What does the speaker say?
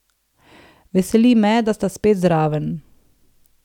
Veseli me, da sta spet zraven.